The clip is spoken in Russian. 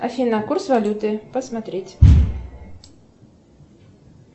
афина курс валюты посмотреть